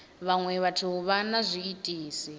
vhaṅwe vhathu vha na zwiitisi